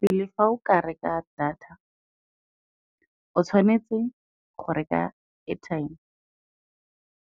Pele fa o ka reka data, o tshwanetse go reka airtime